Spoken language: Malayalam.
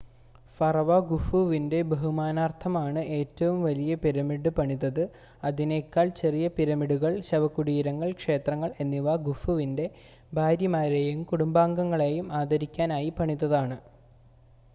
ഫറോവ ഖുഫുവിൻ്റെ ബഹുമാനാർത്ഥമാണ് ഏറ്റവും വലിയ പിരമിഡ് പണിതത് അതിനേക്കാൾ ചെറിയ പിരമിഡുകൾ ശവകുടീരങ്ങൾ ക്ഷേത്രങ്ങൾ എന്നിവ ഖുഫുവിൻ്റെ ഭാര്യമാരെയും കുടുംബാംഗങ്ങളെയും ആദരിക്കാനായി പണിതതാണ്